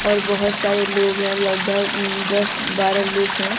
और बहोत सारे लोग हैं लगभग दस बारह लोग हैं।